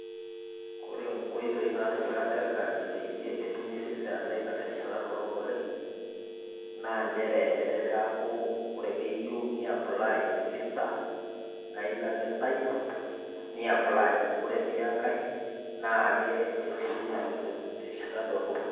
Ore inkoitoi natipika serkali peyie etumi visa e America terishata dorrop oleng, naa nchere etaa peaku ore peiyeu niapply visa naa ilo ake cyber niapply, ore sii enkai naa esiokini atum terishata dorrop oleng.